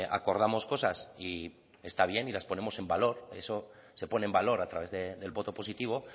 acordamos cosas y está bien las ponemos en valor eso se pone en valor a través del voto positivo